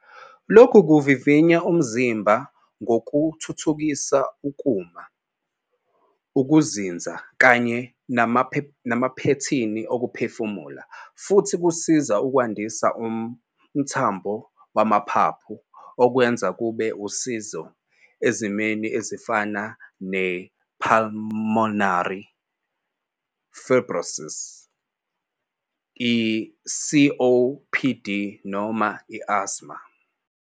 Lokhu kuvivinya umzimba kungathuthukisa ukuma, ukuzinza kanye namaphethini okuphefumula, futhi kusiza ukwandisa umthamo wamaphaphu, okwenza kube usizo ezimweni ezifana ne-pulmonary fibrosis, i-COPD noma i-asthma.